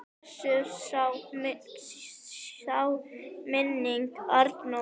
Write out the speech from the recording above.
Blessuð sé minning Arnórs.